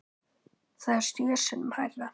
Það er sjö sinnum hærra.